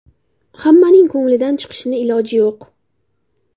Hammaning ko‘nglidan chiqishni iloji yo‘q.